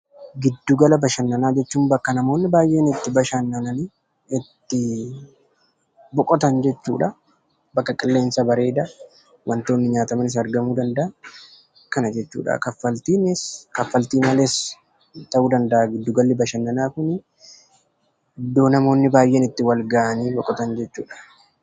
Giddu gala bashannanaa jechuun bakka namoonni baay'een itti bashannananii ittii boqotan jechuudhaa. Bakka qilleensa bareedaa wantoonni nyaatamanis argamuu danda'an kana jechuudha. Kaffaltiinis kaffaltii malees ta'uu danda'a giddu galli bashannanaa kunii iddoo namoonni baay'een itti walga'anii boqotan jechuudha.